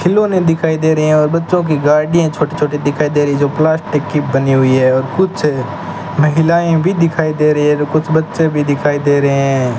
खिलौने दिखाई दे रहे हैं और बच्चों की गाड़ियां छोटी छोटी दिखाई दे रही जो प्लास्टिक की बनी हुई हैं और कुछ महिलाएं भी दिखाई दे रही हैं जो कुछ बच्चे भी दिखाई दे रहे हैं।